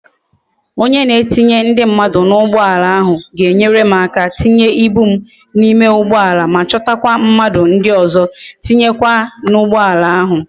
Onye na etinye ndi mmadu na ugboala ahu ga enwere m aka tinye ibu m na ime ugboala ma chota kwa mmadu ndi ozo tinye kwa na ugboala ahu